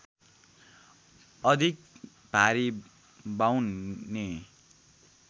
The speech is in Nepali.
अधिक भारी बाउन्ने